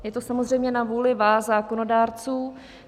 Je to samozřejmě na vůli vás zákonodárců.